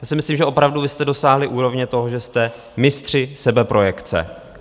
Já si myslím, že opravdu vy jste dosáhli úrovně toho, že jste mistři sebeprojekce.